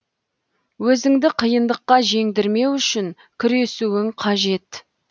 өзіңді қиындыққа жеңдірмеу үшін күресуің қажет